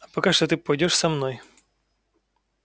а пока что ты пойдёшь со мной